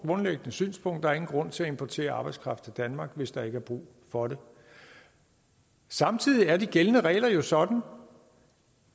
grundlæggende synspunkt at der ingen grund er til at importere arbejdskraft til danmark hvis der ikke er brug for det samtidig er de gældende regler jo sådan